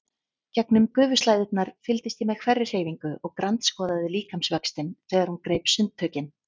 Gegnum gufuslæðurnar fylgdist ég með hverri hreyfingu og grandskoðaði líkamsvöxtinn þegar hún greip sundtökin.